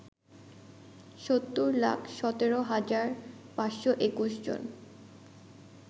৭০ লাখ ১৭ হাজার ৫২১ জন